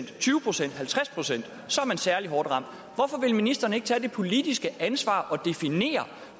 man særlig hårdt ramt hvorfor vil ministeren ikke tage det politiske ansvar og definere